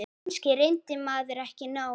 Kannski reyndi maður ekki nóg.